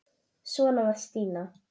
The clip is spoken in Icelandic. Svona var Stína.